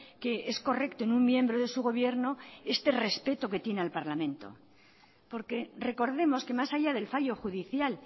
que es correcto en un miembro de su gobierno este respeto que tiene al parlamento porque recordemos que más allá del fallo judicial